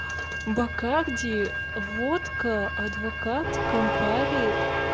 бакарди водка адвокат кампари